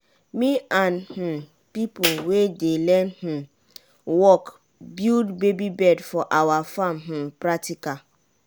me and um pipo wey dey learn um work build baby bed for awa farm um practical.